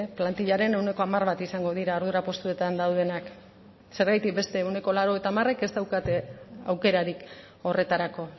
plantillaren ehuneko hamar bat izango dira ardura postuetan daudenak zergatik beste ehuneko laurogeita hamarek ez daukate aukerarik horretarako